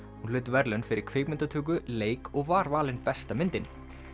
hún hlaut verðlaun fyrir kvikmyndatöku leik og var valin besta myndin